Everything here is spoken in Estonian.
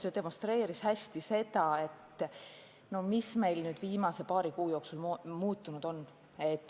See demonstreeris hästi seda, mis meil viimase paari kuu jooksul muutunud on.